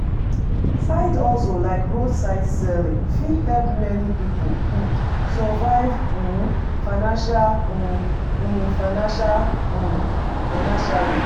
Side hustle like roadside selling fit help many pipo um survive [um]financial um financial um financially.